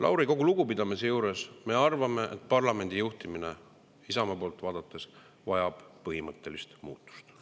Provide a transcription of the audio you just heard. Lauri, kogu lugupidamise juures, Isamaa poolt vaadates me arvame, et parlamendi juhtimine vajab põhimõttelist muutust.